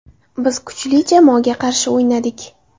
Biz kuchli jamoaga qarshi o‘ynadik.